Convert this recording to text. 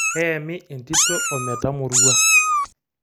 Keyami enkitok ometamorua.